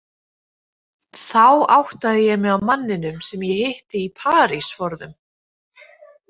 Þá áttaði ég mig á manninum sem ég hitti í París forðum.